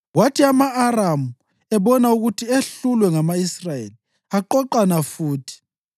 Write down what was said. Kwathi ama-Aramu ebona ukuthi ehlulwe ngama-Israyeli, aqoqana futhi.